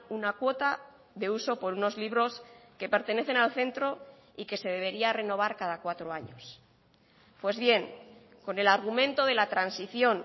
una cuota de uso por unos libros que pertenecen al centro y que se debería renovar cada cuatro años pues bien con el argumento de la transición